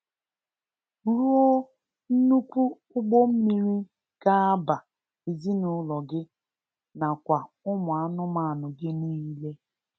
Ruo nnukwu ụgbọ mmiri ga-aba ezinụlọ gị na kwa ụmụ anụmanụ gị niile.